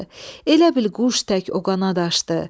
Elə bil quş tək o qanad açdı.